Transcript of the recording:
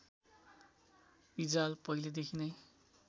रिजाल पहिलेदेखि नै